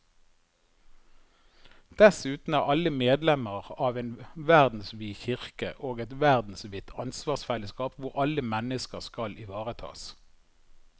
Dessuten er alle medlemmer av en verdensvid kirke og et verdensvidt ansvarsfellesskap hvor alle mennesker skal ivaretas.